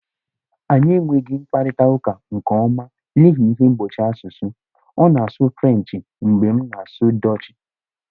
Anyị enweghị mkparịta ụka nke ọma n'ihi ihe mgbochi asụsụ, ọ na-asụ Frenchị mgbe m na-asụ Dọọchị